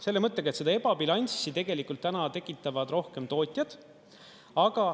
Selle mõttega, et seda ebabilanssi tegelikult täna tekitavad rohkem tootjad.